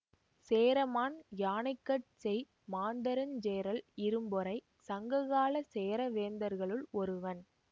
சேரமான் யானைகட்சேய் மாந்தரஞ்சேரல் இரும்பொறை சங்க காலச் சேர வேந்தர்களுள் ஒருவன்